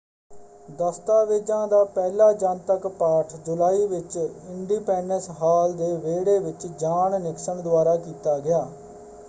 ਦਸਤਾਵੇਜ਼ਾਂ ਦਾ ਪਹਿਲਾ ਜਨਤਕ ਪਾਠ ਜੁਲਾਈ ਵਿੱਚ ਇੰਡੀਪੈਂਡਸ ਹਾਲ ਦੇ ਵਿਹੜੇ ਵਿੱਚ ਜਾੱਨ ਨਿਕਸਨ ਦੁਆਰਾ ਕੀਤਾ ਗਿਆ।